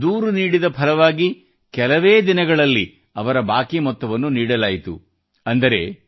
ಅವರು ದೂರು ನೀಡಿದಲ್ಲಿ ಅದರ ಫಲವಾಗಿ ಕೆಲವೇ ದಿನಗಳಲ್ಲಿ ಅವರ ಬಾಕಿ ಮೊತ್ತವನ್ನು ನೀಡಲಾಯಿತು